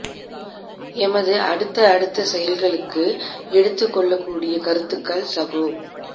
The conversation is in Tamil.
எமது அடுத்த அடுத்த செயல்களுக்கு எடுத்துக்கொள்ளக்கூடிய கருத்துக்கள் சகோ